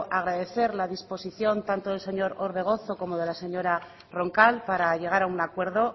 agradecer la disposición tanto del señor orbegozo como de la señora roncal para llegar a un acuerdo